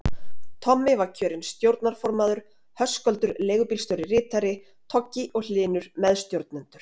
Tommi var kjörinn stjórnarformaður, Höskuldur leigubílstjóri ritari, Toggi og Hlynur meðstjórnendur.